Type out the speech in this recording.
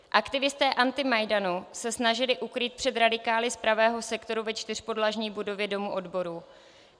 Aktivisté antimajdanu se snažili ukrýt před radikály z Pravého sektoru ve čtyřpodlažní budově Domu odborů.